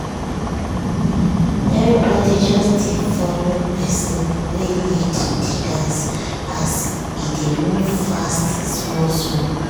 everybody just dey follow person wey lead de dance as e dey move fast small small.